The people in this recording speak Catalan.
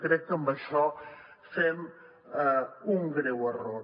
crec que amb això fem un greu error